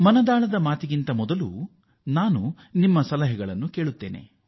ನಾನು ಮನ್ ಕಿ ಬಾತ್ ಗೆ ಮುನ್ನ ನಾನು ನಿಮ್ಮೆಲ್ಲರ ಸಲಹೆ ಕೇಳುತ್ತೇನೆ